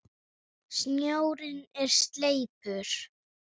Snjórinn er sleipur!